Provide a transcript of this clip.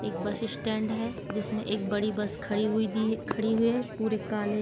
एक bus stand है जिसमे एक बड़ी बस खड़ी हुई दी खड़ी हुई है। पूरे काले --